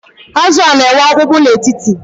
Azụ a, na-enwe ọkpụkpụ n’etiti